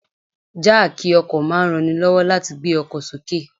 Jáákì ọkọ̀ máa ń ranni lọ́wọ́ láti gbé ọkọ̀ sókè.